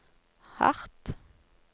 hardt